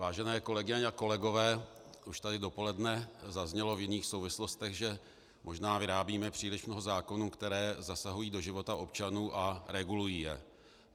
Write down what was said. Vážené kolegyně a kolegové, už tady dopoledne zaznělo v jiných souvislostech, že možná vyrábíme příliš mnoho zákonů, které zasahují do života občanů a regulují je.